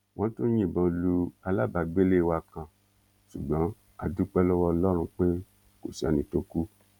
wọn tún yìnbọn lu alábàágbélé wa kan ṣùgbọn a dúpẹ lọwọ ọlọrun pé kò sẹni tó kù